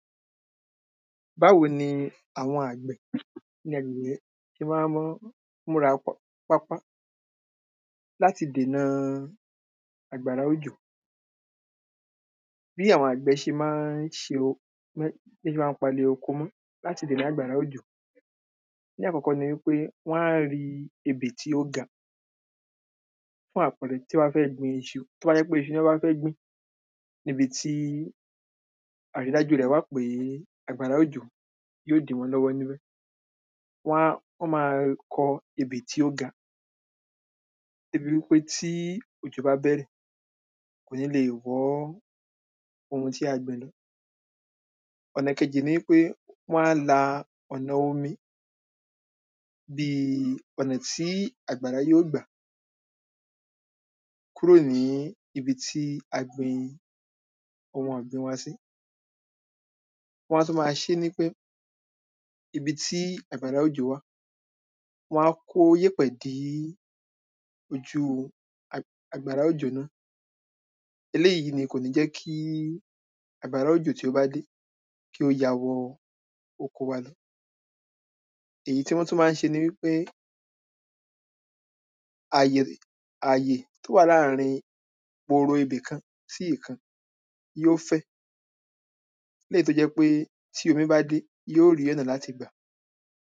báwo ni àwọn àgbẹ̀ ṣe máa ń mú múra pápá láti dènà àgbàrá òjò bí àwọn àgbẹ̀ ṣe máa ń ṣe bọ́ ṣe máa ń palẹ̀ oko mọ́ láti lè dá àgbàrá òjò ní àkọ́kọ̀ nipé, wọ́n á ri ebè tí ó ga fún àpẹre tí wọ́n bá fẹ́ gbin isu, tó bá jẹ́ pé isu lọ́ bá fẹ́ gbìn, níbi tí àrídájú rẹ̀ wà pé àgbàrá òjò yoó dí wọn lọ́wọ́ níbẹ̀ wọ́n á wọ́n ma kọ ebè tí ó ga dé bi wípé tí òjò bá bẹ̀rẹ̀, kò nílè wọ́ ohun tí a gbìn lọ ọ̀nà ìkejì ni wípé wọ́n á la ọ̀nà omi bíi ọ̀nà tí àgbàrá yoó gbà kúrò ní ibi tí a gbin ohun ọ̀gbìn wa sí wọ́n á tún ma ṣé ní wípé ibi tí àgbàrá òjò wà, wọn á kó yẹ̀pẹ̀ dí ojú àgbàrá òjò náà eléyìí ni kò ní jẹ́ kí àgbàrá òjò tí ó bá dé kí ó ya wọ oko wa lọ èyí tí wọ́n tún máa ń ṣe ni wípé àyè, àyè tó wà láàrín gboro ibì kan sí ìkan yoó fẹ̀ léyìí tó jẹ́ pé, tí omi bá dé yoó rí ọ̀nà láti gbà